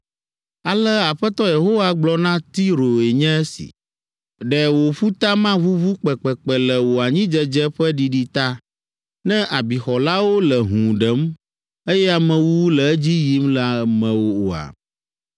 “Ale Aƒetɔ Yehowa gblɔ na Tiroe nye si. ‘Ɖe wò ƒuta maʋuʋu kpekpekpe le wò anyidzedze ƒe ɖiɖi ta, ne abixɔlawo le hũu ɖem, eye amewuwu le edzi yim le mewò oa?